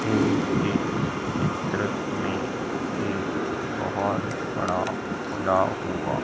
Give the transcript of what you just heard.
ये एक चित्र में ये एक बहोत बड़ा खुला हुआ--